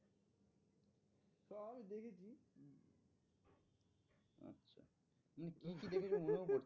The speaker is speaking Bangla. কি দেখেছে মনেও